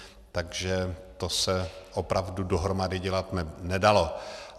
Takže to se opravdu dohromady dělat nedalo.